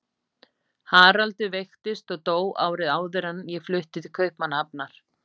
Haraldur veiktist og dó árið áður en ég flutti til Kaupmannahafnar.